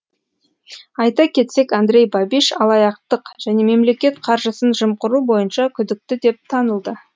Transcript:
айта кетсек андрей бабиш алаяқтық және мемлекет қаржысын жымқыру бойынша күдікті деп танылды